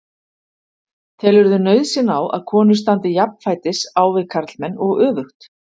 Telurðu nauðsyn á að konur standi jafnfætis á við karlmenn og öfugt?